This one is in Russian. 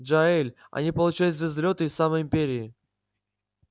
джаэль они получают звездолёты из самой империи